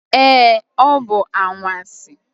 Ee, ọ bụ anwansi.